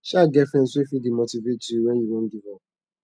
sha get friends wey fit dey motivate yu wen yu wan giv up